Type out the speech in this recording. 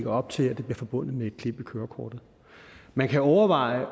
op til at det bliver forbundet med et klip i kørekortet man kan overveje